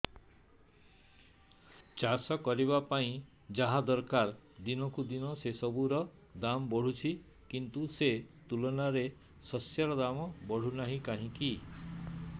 ଚାଷ କରିବା ପାଇଁ ଯାହା ଦରକାର ଦିନକୁ ଦିନ ସେସବୁ ର ଦାମ୍ ବଢୁଛି କିନ୍ତୁ ସେ ତୁଳନାରେ ଶସ୍ୟର ଦାମ୍ ବଢୁନାହିଁ କାହିଁକି